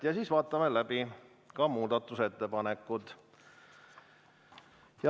Ja siis vaatame läbi muudatusettepanekud.